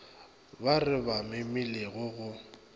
ba re ba memilego go